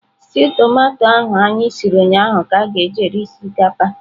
Stew tomato ahụ anyị siri ụnyahụ ka e ji rie osikapa.